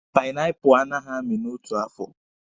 Panaipụlụ a naghị amị n'otu afọ